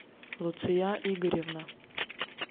луция игоревна